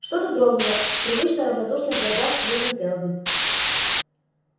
что-то дрогнуло в привычно равнодушных глазах сьюзен кэлвин